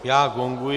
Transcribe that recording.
Já gonguji.